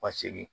Ka segin